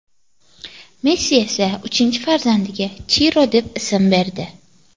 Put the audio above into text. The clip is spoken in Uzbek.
Messi esa uchinchi farzandiga Chiro deb ism berdi.